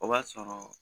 O b'a sɔrɔ